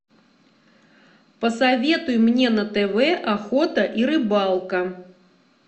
посоветуй мне на тв охота и рыбалка